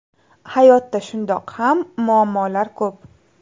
Hayotda shundoq ham muammolar ko‘p.